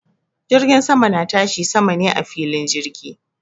Jirgin sama na tashi sama ne a filin jirgi